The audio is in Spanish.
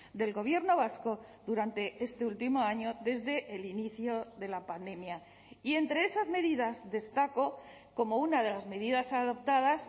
del gobierno vasco durante este último año desde el inicio de la pandemia y entre esas medidas destaco como una de las medidas adoptadas